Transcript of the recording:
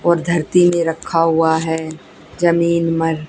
और धरती में रखा हुआ है जमीन मर --